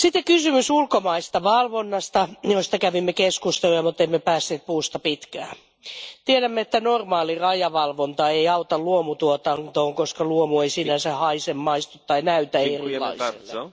Kysymys ulkomaisesta valvonnasta, josta kävimme keskustelua, mutta emme päässeet puusta pitkään. Tiedämme, että normaali rajavalvonta ei auta luomutuotantoon, koska luomu ei sinänsä haise, maistu tai näytä erilaiselta.